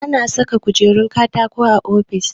Ana saka kujerun katako a ofis